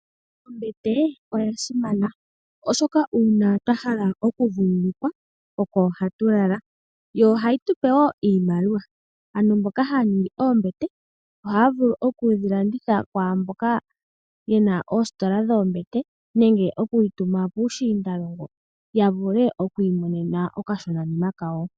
Ombete oya simana oshoka uuna twa hala oku vululukwa oko hatu lala yo ohayi tupe iimaliwa, aantu mboka haya ningi oombete ohaya vulu okudhi landitha kwamboka yena oositola dhoombete nenge okudhi tuma puushinda longo a vule oku imonena oka shona nima kawo.